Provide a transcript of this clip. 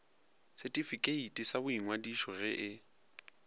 setifikeiti sa boingwadišo ge e